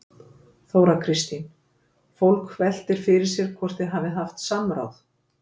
Þóra Kristín: Fólk veltir fyrir sér hvort þið hafið haft samráð?